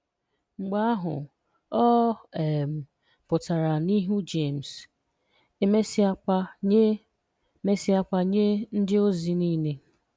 Mgbe ahụ, ọ um pụtara n'ihu Jemes, e mesịakwa nye mesịakwa nye ndịozi nile.